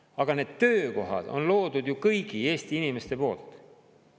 Aga need töökohad on loodud ju kõigi Eesti inimeste poolt.